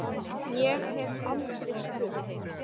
Ég hef aldrei spurt.